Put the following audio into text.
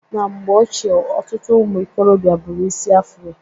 Na mgbe ochie, ọtụtụ ụmụikorobịa buru isi Afro.